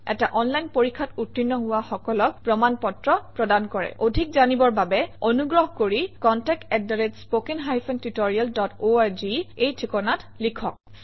এটা অনলাইন পৰীক্ষাত উত্তীৰ্ণ হোৱা সকলক প্ৰমাণ পত্ৰ প্ৰদান কৰে অধিক জানিবৰ বাবে অনুগ্ৰহ কৰি contactspoken tutorialorg এই ঠিকনাত লিখক